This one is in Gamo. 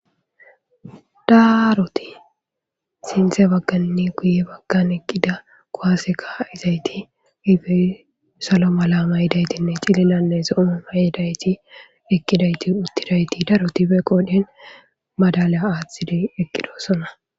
daaroti sinte baggannne guye baggan eqqida kowaseka izayti ifey salo malama yidaytinne cililannesoooma yidayti eqidayti uttidayti darotife qoodhen madalya aaththidi eqqidosona